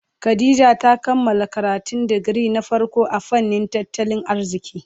Khadijah ta kammala karatun digiri na farko a fannin tattalin arziki.